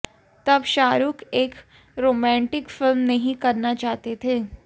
तब शाहरुख़ एक romantic film नहीं करना चाहते थे